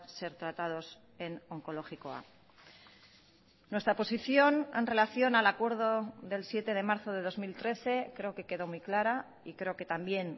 ser tratados en onkologikoa nuestra posición en relación al acuerdo del siete de marzo de dos mil trece creo que quedó muy clara y creo que también